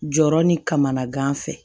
Jɔrɔ ni kamana gan fɛ